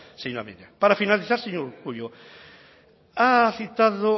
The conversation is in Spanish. mendia para finalizar señor urkullu ha citado